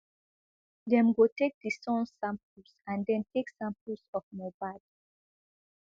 dem go take di son samples and den take samples of mohbad